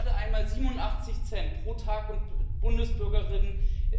Gerade einmal 87 Cent pro Tag und Bundesbürger bzw.